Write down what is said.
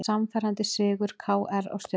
Sannfærandi sigur KR á Stjörnunni